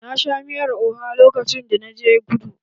Na sha miyar oha lokacin da na je kudu.